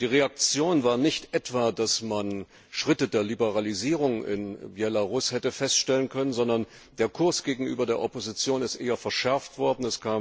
Und die Reaktion war nicht etwa, dass Schritte der Liberalisierung in Belarus festgestellt wurden, sondern der Kurs gegenüber der Opposition ist eher verschärft worden.